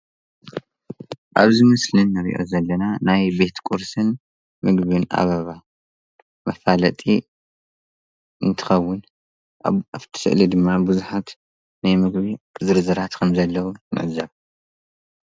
ኣብዚ ምስሊ እንሪኦ ዘለና ናይ ቤት ቁርስን ምግብን ኣበባ መፋለጢ እንትኸዉን ኣብቲ ዉሽጢ ስእሊ ድማ ቡዙሓት ናይ ምግቢ ዝርዝራት ከም ዘለዉን ይገልፅ፡፡